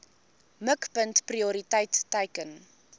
mikpunt prioriteit teiken